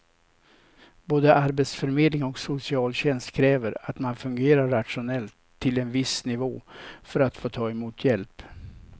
Både arbetsförmedling och socialtjänst kräver att man fungerar rationellt till en viss nivå för att få ta emot hjälp.